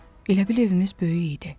Elə bil evimiz böyük idi.